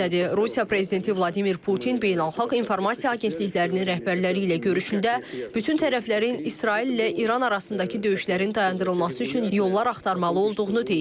Rusiya prezidenti Vladimir Putin beynəlxalq informasiya agentliklərinin rəhbərləri ilə görüşündə bütün tərəflərin İsraillə İran arasındakı döyüşlərin dayandırılması üçün yollar axtarmalı olduğunu deyib.